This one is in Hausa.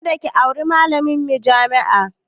Kada ki auri malamin jami'a!